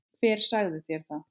Hver sagði þér það?